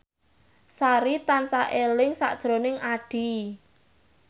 Sari tansah eling sakjroning Addie